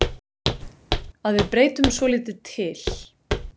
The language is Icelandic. Að við breytum svolítið til.